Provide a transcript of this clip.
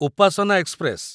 Upasana express